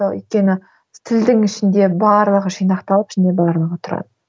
өйткені тілдің ішінде барлығы жинақталып ішінде барлығы тұрады